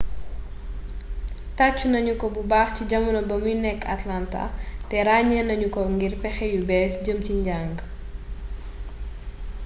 taccu nañuko bubax ci jamono ba muy nekk atlanta te rañe nañuko ngir pexe yu bess jëm ci njang